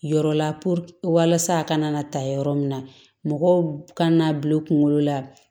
Yɔrɔ la walasa a kana na ta yɔrɔ min na mɔgɔw kan'a bil'u kunkolo la